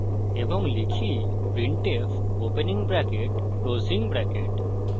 এবং type printf opening bracket closing bracket